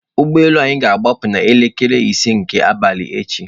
Ụgbọ elu anyị ga-agbaa pu n'elekere ise nke abalị echi.